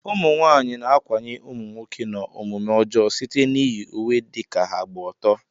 Ụmụnwaanyị na-ákwànye ụmụnwoke n'omume ọjọọ site n'iyi uwe dị ka ha gba ọtọ